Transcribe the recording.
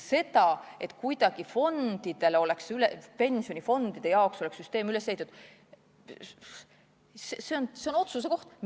See, et pensionifondide jaoks saaks teatud süsteem üles ehitatud, on otsuse koht.